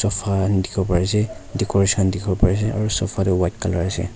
dikhiwo pari ase decoration khan dikhiwo pari ase aro sofa toh white color ase.